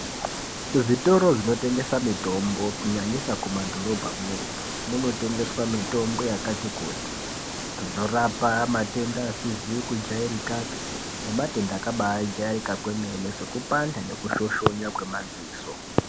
Kuzvitoro zvinotengesa mitombo kunyanyisa kumadhorobhamwo munotengeswa mitombo yakati kuti inorapa matenda asizi kujairikapi nematenda akabajairika kwemene sekupanda nekushoshonya kwemadziso.